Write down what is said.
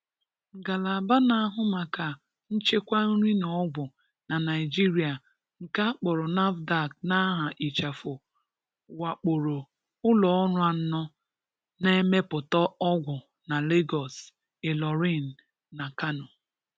Ngalaba na-ahụ maka nchekwa nri na ọgwụ na Naịjirịa nke a kpọrọ NAFDAC n'aha ịchafụ wakporo ụlọọrụ anọ na-emepụta ọgwụ na Lagos, Ilorin na Kano.